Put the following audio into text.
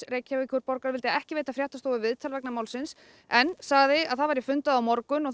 Reykjavíkurborgar vildi ekki veita fréttastofu viðtal vegna málsins en sagði að það væri fundað á morgun og